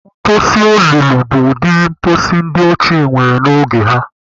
Mposi olulu bụ ụdịrị mposi ndị ochie nwere n'oge ha.